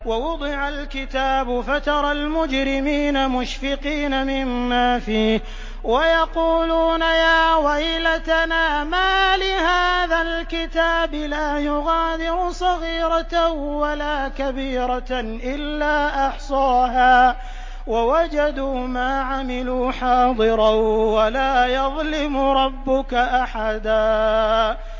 وَوُضِعَ الْكِتَابُ فَتَرَى الْمُجْرِمِينَ مُشْفِقِينَ مِمَّا فِيهِ وَيَقُولُونَ يَا وَيْلَتَنَا مَالِ هَٰذَا الْكِتَابِ لَا يُغَادِرُ صَغِيرَةً وَلَا كَبِيرَةً إِلَّا أَحْصَاهَا ۚ وَوَجَدُوا مَا عَمِلُوا حَاضِرًا ۗ وَلَا يَظْلِمُ رَبُّكَ أَحَدًا